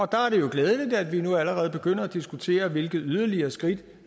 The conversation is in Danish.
der er det jo glædeligt at vi nu allerede begynder at diskutere hvilke yderligere skridt